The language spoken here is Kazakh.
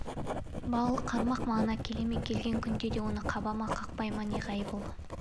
балық қармақ маңына келе ме келген күнде де оны қаба ма қақпай ма неғайбыл